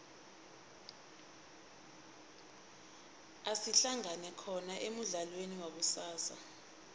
asihlangane khona emudlalweni wakusasa